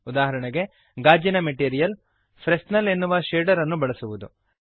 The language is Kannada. ಉದಾಹರಣೆಗೆ ಗಾಜಿನ ಮೆಟೀರಿಯಲ್ ಫ್ರೆಸ್ನೆಲ್ ಎನ್ನುವ ಶೇಡರ್ ಅನ್ನು ಬಳಸುವುದು